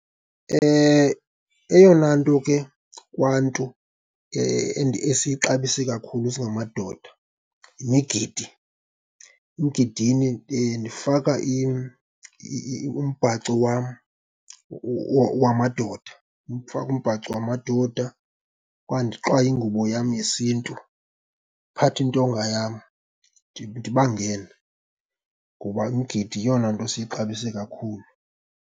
Eyona nto ke kwaNtu esiyixabise kakhulu singamadoda yimigidi. Emgidini ndifaka umbhaco wam wamadoda. Ndifake umbhaco wamadoda okanye ndixwaye ingubo yam yesiNtu, ndiphathe intonga yam, ndibangene, ngoba umgidi yeyona nto siyixabise kakhulu.